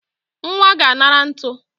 Nwa ga-anara ntu